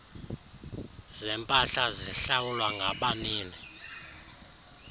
zempahla zihlawulwa ngabanini